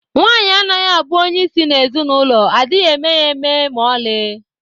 Nwaanyị anaghị abụ onye isi na ezinụlọ adịghị eme ya eme ma oli